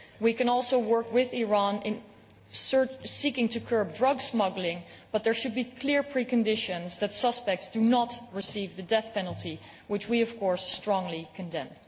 We can also work with Iran in seeking to curb drug smuggling, but there should be clear pre conditions that suspects do not receive the death penalty, which we of course strongly condemn.